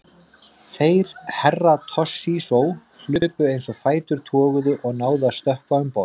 Þeir Herra Toshizo hlupu eins og fætur toguðu og náðu að stökkva um borð.